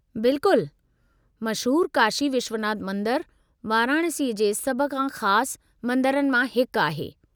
बिल्कुलु। मशहूरु काशी विश्वनाथ मंदरु वाराणसीअ जे सभ खां ख़ासि मंदरनि मां हिकु आहे।